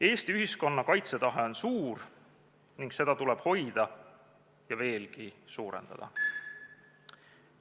Eesti ühiskonna kaitsetahe on suur ning seda tuleb hoida ja veelgi suurendada.